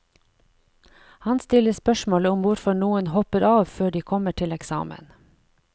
Han stiller spørsmålet om hvorfor noen hopper av før de kommer til eksamen.